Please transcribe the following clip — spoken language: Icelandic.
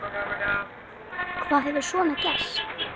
Hvað hefur svo gerst?